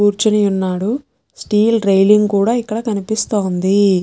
కూర్చొని ఉన్నాడు steel railing కూడా ఇక్కడ కనిపిస్తోంది.